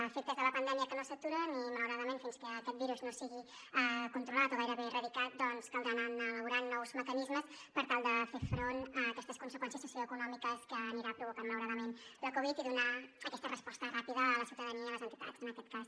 efectes de la pandèmia que no s’aturen i malauradament fins que aquest virus no sigui controlat o gairebé erradicat caldrà anar elaborant nous mecanismes per tal de fer front a aquestes conseqüències socioeconòmiques que anirà provocant malauradament la covid i donar aquesta resposta ràpida a la ciutadania i a les entitats en aquest cas